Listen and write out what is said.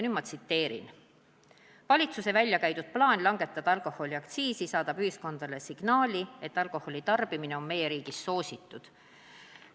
Ma tsiteerin seda: "Valitsuse välja käidud plaan langetada alkoholiaktsiisi saadab ühiskonnale signaali, et alkoholi tarbimine on meie riigis soositud.